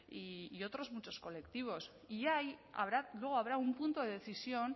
y otros muchos colectivos y ahí luego habrá un punto de decisión